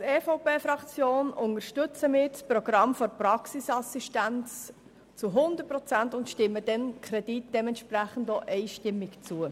Als EVPFraktion unterstützen wir das Programm der Praxisassistenz zu 100 Prozent und stimmen dem Kredit dementsprechend ausnahmslos zu.